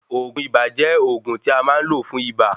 Oògùn ibà jẹ́ òògun tí a máa ń lò fún ibà